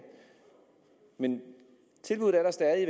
men tilbuddet er der stadig